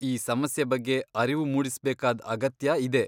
ಈ ಸಮಸ್ಯೆ ಬಗ್ಗೆ ಅರಿವು ಮೂಡಿಸ್ಬೇಕಾದ್ ಅಗತ್ಯ ಇದೆ.